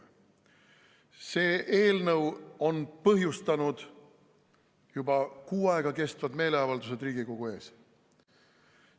See eelnõu on põhjustanud juba kuu aega kestnud meeleavaldused Riigikogu ees.